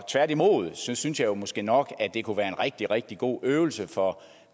tværtimod synes synes jeg måske nok at det kunne være en rigtig rigtig god øvelse for